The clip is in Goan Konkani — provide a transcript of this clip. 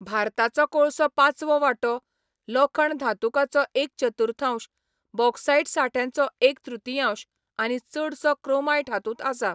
भारताचो कोळसो पांचवो वांटो, लोखण धातुकाचो एक चतुर्थांश, बॉक्सायट सांठ्याचो एक तृतीयांश आनी चडसो क्रोमायट हातूंत आसा.